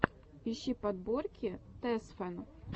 ищи подборки тэсфэн